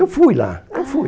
Eu fui lá, eu fui.